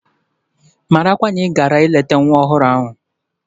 Marakwa na ị gara ileta nwa ọhụrụ a mụrụ!